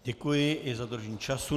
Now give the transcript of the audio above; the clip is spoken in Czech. Děkuji i za dodržení času.